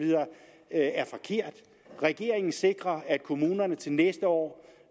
er er forkert regeringen sikrer at kommunerne til næste år